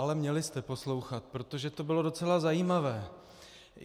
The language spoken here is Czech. Ale měli jste poslouchat, protože to bylo docela zajímavé.